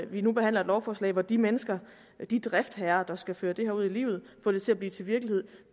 vi nu behandler et lovforslag hvor de mennesker de driftsherrer der skal føre det her ud i livet og få det til at blive til virkelighed